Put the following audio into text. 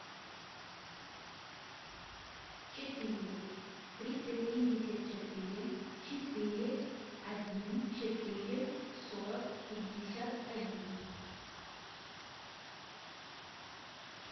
четыре триста семьдесят четыре четыре один четыре сорок пятьдесят один